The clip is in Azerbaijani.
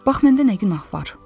Bax, məndə nə günah var?